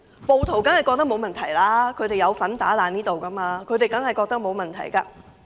暴徒當然認為沒有問題，他們有份毀壞立法會大樓，當然認為沒有問題。